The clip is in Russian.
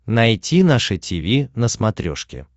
найти наше тиви на смотрешке